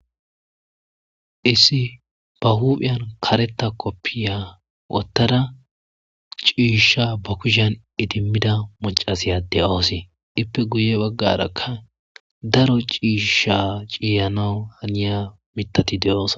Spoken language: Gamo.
Issi ba huphiyan kareta koppiya wottada ciishsha ba kushan idimmida mocasiyade oose ippe guye baggaraka daro ciisha ciiyano haniya mitati de'oos.